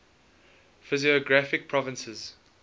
physiographic provinces